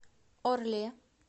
орле